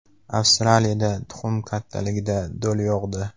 Avstraliyada tuxum kattaligida do‘l yog‘di .